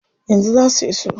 Yanzu zaa su iso.